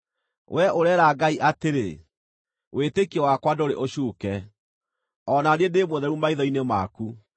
Wee ũreera Ngai atĩrĩ, ‘Wĩtĩkio wakwa ndũrĩ ũcuuke, o na niĩ ndĩ mũtheru maitho-inĩ maku.’